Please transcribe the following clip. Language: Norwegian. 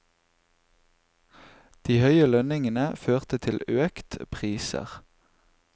De høye lønnstilleggene førte til økt priser.